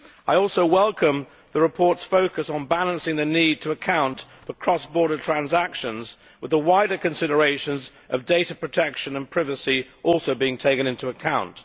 I also welcome the report's focus on balancing the need to account for cross border transactions, with the wider considerations of data protection and privacy also being taken into account.